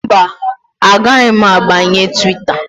Mba, agaghị m abanye Twita